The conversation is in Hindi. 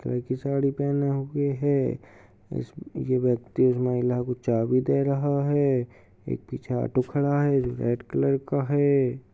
काहे की साड़ी पहनी हुए है। उस ये व्यक्ति उस महिला को चाभी दे रहा है। एक पीछे ऑटो खड़ा है जो की रेड कलर का है।